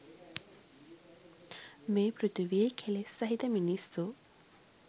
මේ පෘථිවියේ කෙලෙස් සහිත මිනිස්සු